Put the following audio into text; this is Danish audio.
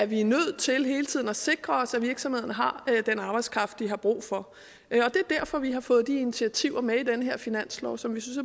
vi er nødt til hele tiden at sikre os at virksomhederne har den arbejdskraft de har brug for det er derfor vi har fået de initiativer med i den her finanslov som vi synes